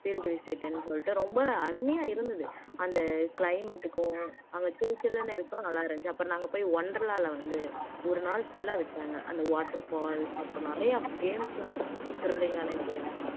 field visit ன்னு சொல்லிட்டு ரொம்ப அருமையா இருந்தது அந்த climate க்கும் அங்க சிலுசிலுன்னு இருக்கும் நல்லா இருந்துச்சு அப்பறம் நாங்க போய் wonderla ல வந்து ஒரு நாள் full ஆ விட்டாங்க அந்த water falls அப்புறம் நிறையா games எல்லாம் இருந்துச்சு thrilling ஆன games